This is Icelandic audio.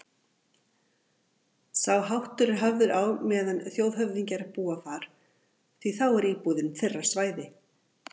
Sá háttur er hafður á meðan þjóðhöfðingjar búa þar, því þá er íbúðin þeirra svæði